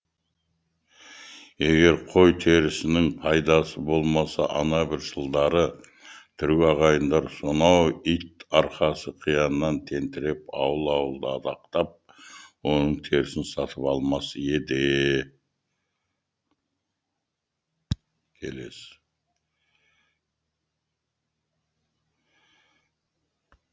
егер қой терісінің пайдасы болмаса ана бір жылдары түрік ағайындар сонау ит арқасы қияннан тентіреп ауыл ауылды адақтап оның терісін сатып алмас еді